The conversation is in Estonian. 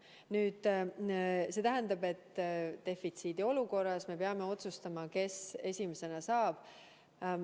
Nüüd, defitsiidiolukorras me peame otsustama, kes esimesena vaktsiini saab.